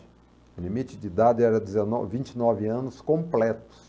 O limite de idade era vinte e nove anos completos.